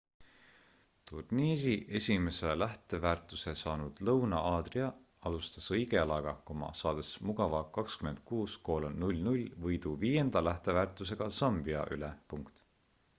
turniiri esimese lähteväärtuse saanud lõuna-aadrika alustas õige jalaga saades mugava 26 : 00 võidu viienda lähteväärtusega zambia üle